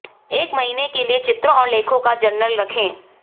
एक महीने के लिए चित्रों और लेखों का जर्नल रखें